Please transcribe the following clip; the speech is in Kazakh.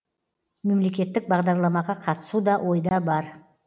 мемлекеттік бағдарламаға қатысу да ойда бар